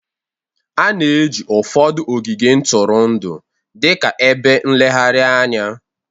A na-eji ụfọdụ ogige ntụrụndụ dị ka ebe nlegharị anya